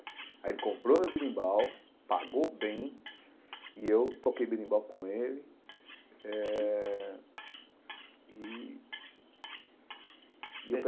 Aí ele comprou meu berimbau, pagou bem, e eu toquei berimbau com ele eh e e.